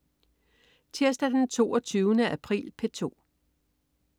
Tirsdag den 22. april - P2: